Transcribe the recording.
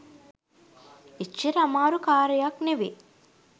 එච්චර අමාරු කාරියක් නෙවේ